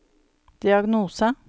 diagnose